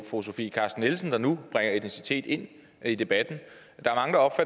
fru sofie carsten nielsen der nu bringer etnicitet ind i debatten